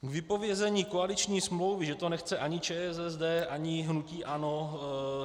K vypovězení koaliční smlouvy, že to nechce ani ČSSD, ani hnutí ANO.